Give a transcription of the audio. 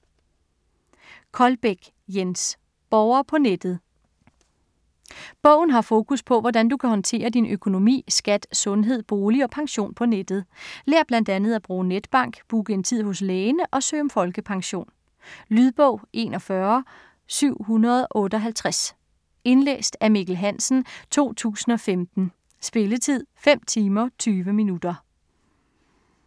Koldbæk, Jens: Borger på nettet Bogen har fokus på, hvordan du kan håndtere din økonomi, skat, sundhed, bolig og pension på nettet. Lær blandt andet at bruge netbank, booke en tid hos lægen og søge om folkepension. Lydbog 41758 Indlæst af Mikkel Hansen, 2015. Spilletid: 5 timer, 20 minutter.